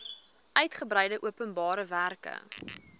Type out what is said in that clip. uitgebreide openbare werke